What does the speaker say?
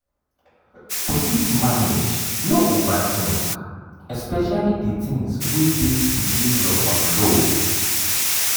to fit manage no overthink especially the things wey no dey within your control